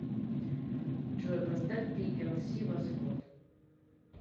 джой поставь пиэлси восход